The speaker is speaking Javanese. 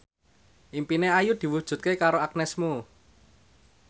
impine Ayu diwujudke karo Agnes Mo